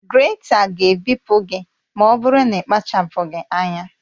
Grèta ga-ebipụ gị ma ọ bụrụ na ị kpachapụghị anya